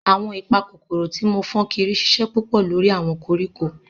Awọn ipakokoro ti mo fun sokiri ṣiṣẹ pupọ lori awọn koriko.